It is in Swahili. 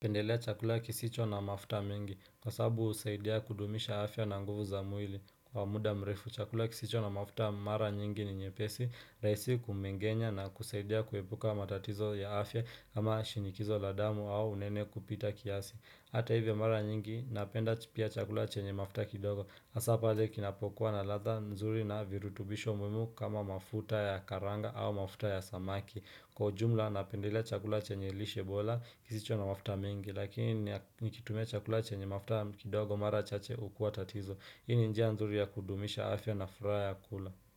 Pendelea chakula kisicho na mafuta mingi. Kwa sababu husaidia kudumisha afya na nguvu za mwili. Kwa muda mrefu, chakula kisicho na mafuta mara nyingi ni nyepesi, rahisi kumengenya na kusaidia kuepuka matatizo ya afya kama shinikizo la damu au unene kupita kiasi. Hata hivyo mara nyingi, napenda pia chakula chenye mafuta kidogo. Hasa pale kinapokuwa na ladha nzuri na virutubisho muhimu kama mafuta ya karanga au mafuta ya samaki. Kwa ujumla napendela chakula chenye lishe bola kisicho na mafuta mingi Lakini nikitumia chakula chenye mafuta kidogo mara chache hukua tatizo Hii ni njia nzuri ya kudumisha afya na furaha ya kula.